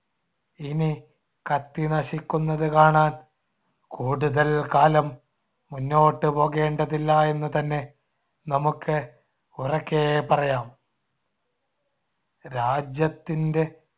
ഇനി കത്തിനശിക്കുന്നത് കാണാന്‍ കൂടുതൽ കാലം മുന്നോട്ടുപോകേണ്ടതില്ല എന്നുതന്നെ നമുക്ക് ഉറക്കെ പറയാം. രാജ്യത്തിൻടെ